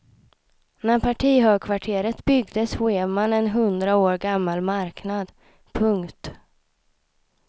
När partihögkvarteret byggdes rev man en hundra år gammal marknad. punkt